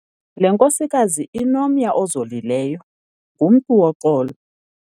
Le nkosikazi inomya ozolileyo, ngumntu woxolo.